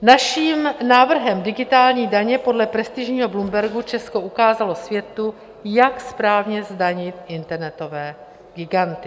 Naším návrhem digitální daně podle prestižního Bloombergu Česko ukázalo světu, jak správně zdanit internetové giganty.